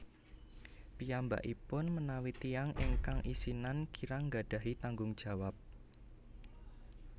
Piyambakipun menawi tiyang ingkang isinan kirang gadhahi tanggung jawab